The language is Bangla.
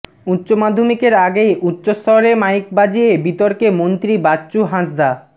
উচ্চমাধ্যমিকের আগে উচ্চস্বরে মাইক বাজিয়ে বিতর্কে মন্ত্রী বাচ্চু হাঁসদা